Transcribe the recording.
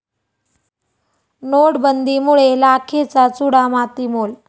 नोटबंदीमुळे लाखेचा चुडा मातीमोल